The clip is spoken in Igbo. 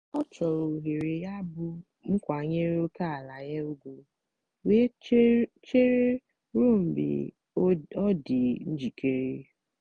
ọ chọrọ ohere yabụ m kwanyere ókèala ya ugwu wee chere ruo mgbe ọ dị njikere.